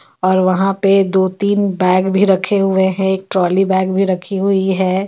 और वहां पे दो तीन बेग भी रखे हुए है एक ट्रॉली बेग भी रखी हुई है.